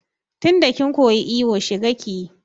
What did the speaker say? Tinda kin koyi iyo shiga kiyi!